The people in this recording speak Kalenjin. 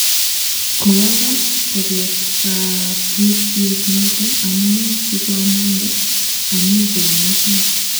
Koagas kobet kapuset noton amune si ko amande ami kounoton